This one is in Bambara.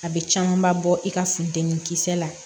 A bɛ camanba bɔ i ka fudennin kisɛ la